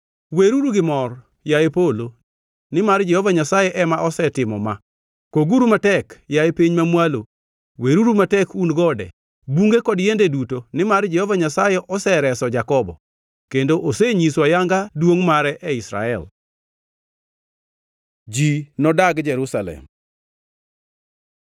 Weruru gi mor, yaye polo, nimar Jehova Nyasaye ema osetimo ma; koguru matek, yaye piny mamwalo. Weruru matek un gode, bunge kod yiende duto, nimar Jehova Nyasaye osereso Jakobo, kendo osenyiso ayanga duongʼ mare e Israel. Ji nodag Jerusalem